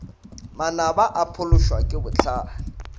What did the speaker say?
manaba o phološwa ke bohlale